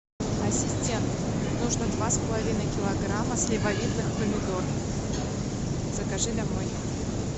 ассистент нужно два с половиной килограмма сливовидных помидор закажи домой